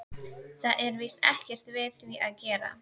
Það er víst ekkert við því að gera.